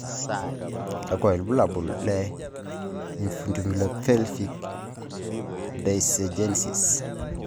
kakwa ibulabul le infundibulopelvic dysgenesis?